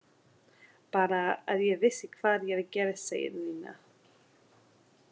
Bara, að ég vissi hvað er að gerast sagði Nína.